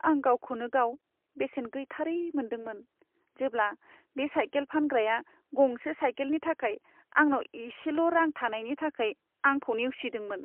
आं गावखौनो गाव बेसेन गैथारै मोन्दोंमोन, जेब्ला बे साइकेल फानग्राया गंसे साइकेलनि थाखाय आंनाव एसेल' रां थानायनि थाखाय आंखौ नेवसिदोंमोन।